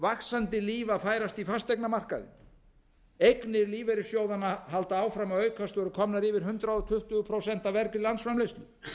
vaxandi líf að færast í fasteignamarkaðinn eignir lífeyrisjsóðanna halda áfram að aukast og eru komnar yfir hundrað tuttugu prósent af vergri landsframleiðslu